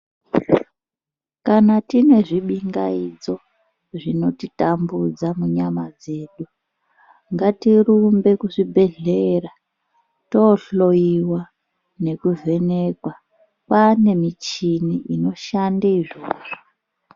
Kana tiine zvibingaidzo, zvinotitambudza munyama dzedu, ngatirumbe kuzvibhedhlera toohloyiwa nekuvhenekwa. Kwaane michini inoshande izvozvo.